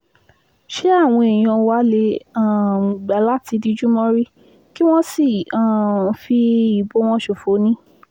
ṣé àwọn èèyàn wá lè um gbà láti dijú mórí kí wọ́n sì um fi ìbò wọn ṣòfò ni